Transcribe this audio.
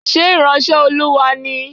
Ṣé ìránṣẹ́ Olúwa ni?